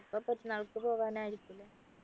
ഇപ്പൊ പെരുന്നാൾക്ക് പോകാനായിരിക്കും ല്ലേ